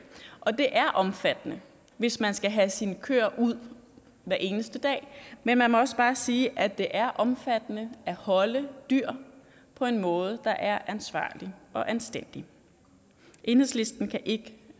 og det er omfattende hvis man skal have sine køer ud hver eneste dag men man må også bare sige at det er omfattende at holde dyr på en måde der er ansvarlig og anstændig enhedslisten kan ikke